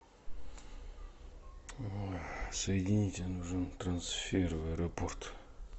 соедините нужен трансфер в аэропорт